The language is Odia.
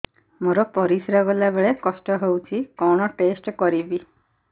ମୋର ପରିସ୍ରା ଗଲାବେଳେ କଷ୍ଟ ହଉଚି କଣ ଟେଷ୍ଟ କରିବି